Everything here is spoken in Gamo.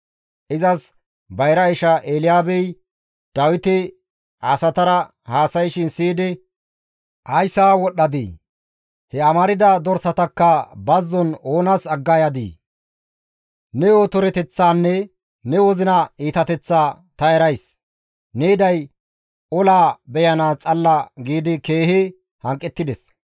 Izas bayra isha Elyaabey Dawiti asatara haasayshin siyidi, «Ays haa wodhdhadii? He amarda dorsatakka bazzon oonas agga yadii? Ne otoroteththaanne ne wozina iitateththaa ta erays; ne yiday olaa beyanaas xalla» giidi keehi hanqettides.